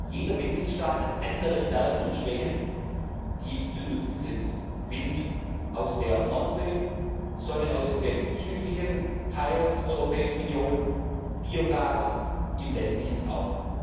Jeder Mitgliedstaat hat andere Stärken und Schwächen, die zu nutzen sind Wind aus der Nordsee, Sonne aus dem südlichen Teil der Europäischen Union, Biogas im ländlichen Raum.